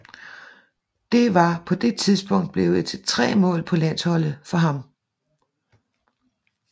Det var på det tidspunkt blevet til tre mål på landsholdet for ham